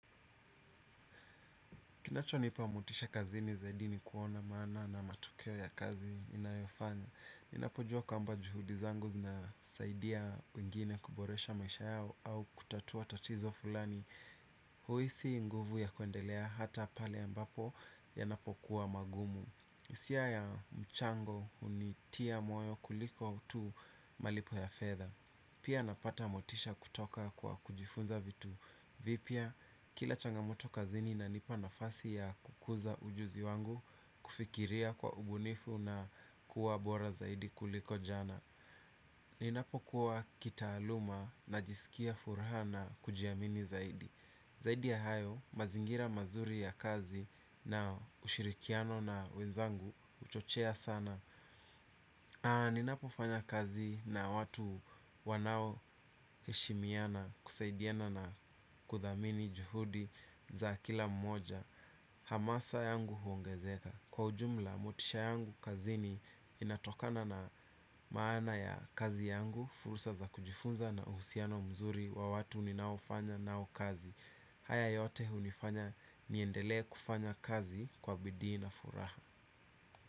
Kinachonipa motisha kazini zaidi ni kuona maana na matokeo ya kazi inayofanya. Ninapojua kwamba juhudi zangu nasaidia wengine kuboresha maisha yao au kutatua tatizo fulani. Huhisi nguvu ya kuendelea hata pale ambapo yanapokuwa magumu hisia ya mchango hunitia moyo kuliko utu malipo ya fedha. Pia napata motisha kutoka kwa kujifunza vitu vipya. Kila changamoto kazini inanipa nafasi ya kukuza ujuzi wangu kufikiria kwa ubunifu na kuwa bora zaidi kuliko jana. Ninapokuwa kitaaluma najisikia furaha na kujiamini zaidi. Zaidi ya hayo mazingira mazuri ya kazi na ushirikiano na wenzangu huchochea sana. Aa, ninapofanya kazi na watu wanaoheshimiana kusaidiana na kuthamini juhudi za kila mmoja hamasa yangu huongezeka. Kwa ujumla, motisha yangu kazini inatokana na maana ya kazi yangu. Fursa za kujifunza na uhusiano mzuri wa watu ninaofanya nao kazi. Haya yote hunifanya niendelee kufanya kazi kwa bidii na furaha.